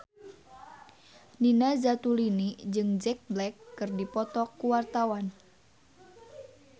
Nina Zatulini jeung Jack Black keur dipoto ku wartawan